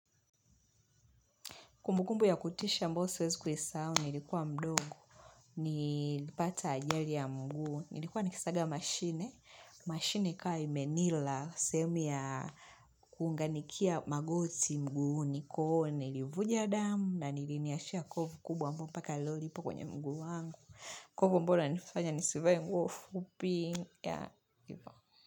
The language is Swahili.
Kumbukumbu ya kutisha ambayo siwezi kuisahao, nilikuwa mdogo, nilipata ajali ya mguu, nilikuwa nikisaga mashine, mashine ikawa imenila, sehemu ya kunganikia magoti mguu, niko nilivuja damu, na niliniashia kovuu kubwa ambao mpaka leo lipo kwenye mguu wangu, kwa hivyo bora nifanya nisivae nguo fupi ya iva.